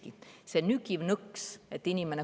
Mis on see nügiv nõks?